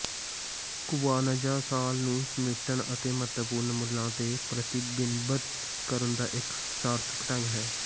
Kwanzaa ਸਾਲ ਨੂੰ ਸਮੇਟਣ ਅਤੇ ਮਹੱਤਵਪੂਰਨ ਮੁੱਲਾਂ ਤੇ ਪ੍ਰਤੀਬਿੰਬਤ ਕਰਨ ਦਾ ਇੱਕ ਸਾਰਥਕ ਢੰਗ ਹੈ